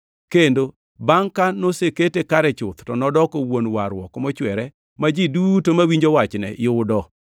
kendo bangʼ ka nosekete kare chuth to nodoko wuon warruok mochwere ma ji duto mawinjo wachne yudo.